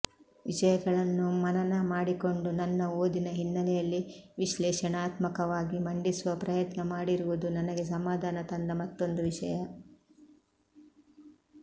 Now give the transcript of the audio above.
ವಿಷಯಗಳನ್ನು ಮನನ ಮಾಡಿಕೊಂಡು ನನ್ನ ಓದಿನ ಹಿನ್ನೆಲೆಯಲ್ಲಿ ವಿಶ್ಲೇಷಣಾತ್ಮಕವಾಗಿ ಮಂಡಿಸುವ ಪ್ರಯತ್ನ ಮಾಡಿರುವುದು ನನಗೆ ಸಮಾಧಾನ ತಂದ ಮತ್ತೊಂದು ವಿಷಯ